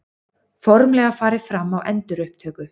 Formlega farið fram á endurupptöku